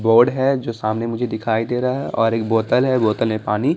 board है जो सामने मुझे दिखाई दे रहा है और एक बोतल है बोतल में पानी--